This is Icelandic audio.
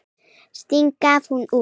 Sting gaf út.